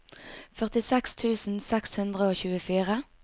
førtiseks tusen seks hundre og tjuefire